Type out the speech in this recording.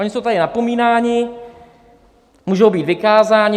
Oni jsou tady napomínáni, můžou být vykázáni.